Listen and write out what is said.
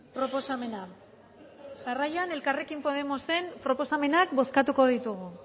proposamena jarraian elkarrekin podemosen proposamenak bozkatuko ditugu